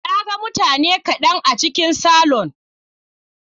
Na ga mutane kaɗan a cikin salon.